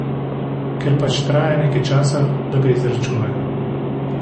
Ker pač traja nekaj časa, da ga izračunajo.